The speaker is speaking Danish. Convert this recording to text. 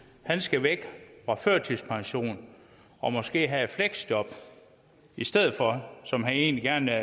han skal væk fra førtidspension og måske have et fleksjob i stedet for som han egentlig gerne